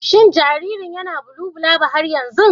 Shin jaririn yana bulubulaba har yanzu?